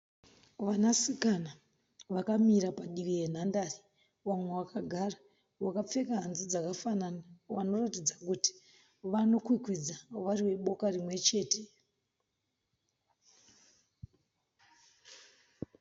Vanasikana vakamira padivi yenhandare. Vamwe vakagara. Vakapfeka hanzu dzakafanana. Vanoratidza kuti vanokwikwidza vari veboka rimwechete.